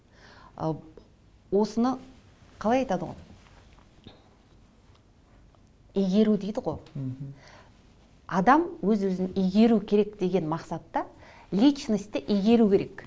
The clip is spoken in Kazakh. ы осыны қалай айтады ғой игеру дейді ғой мхм адам өз өзін игеру керек деген мақсатта личностты игеру керек